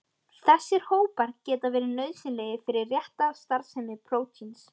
Þessir hópar geta verið nauðsynlegir fyrir rétta starfsemi prótíns.